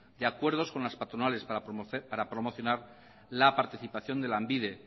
de acuerdo con las patronales para promocionar la participación de lanbide